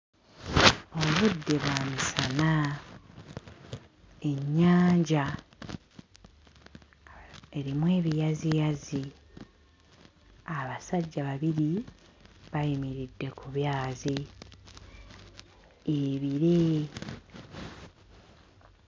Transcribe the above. Obudde bwa misana. Ennyanja erimu ebiyaziyazi. Abasajja babiri bayimiridde ku byazi. Ebire